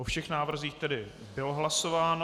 O všech návrzích tedy bylo hlasováno.